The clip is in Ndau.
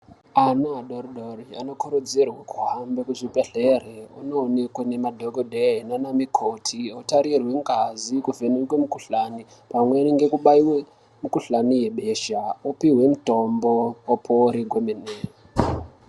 Ana adori dori anokurudzirwe kuhambe kuzvibhedhleri ononekwe nemadhokodhee nane mukoti otarirwe ngazi kuvhenekwe mukhuhlani pamweni ngekubaiwe mukhuhlani yebesha opihwe mutombo opore kwemene.